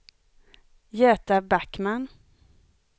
Göta Backman